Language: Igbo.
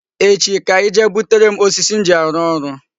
Echi ka I jee butere m osisi m ji arụ orụ.